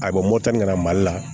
A ko nana mali la